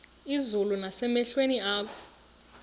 izulu nasemehlweni akho